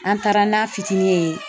An taara n'a fitinin ye.